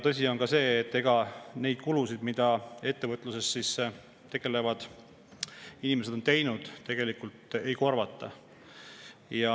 Tõsi on ka see, et neid kulusid, mida ettevõtlusega tegelevad inimesed on seetõttu teinud, tegelikult ei korvata.